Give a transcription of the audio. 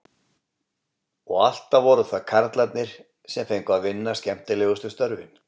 Og alltaf voru það karlarnir sem fengu að vinna skemmtilegustu störfin.